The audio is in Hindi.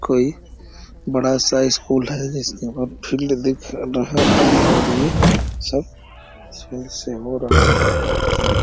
कोई बड़ा सा स्कूल है। जिसका फील्ड दिख रहा है और ये सब है।